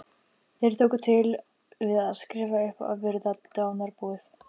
Þeir tóku til við að skrifa upp og virða dánarbúið.